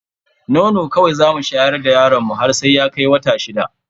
Nono kawai zamu shayar da yaron mu har sai ya kai wata shida.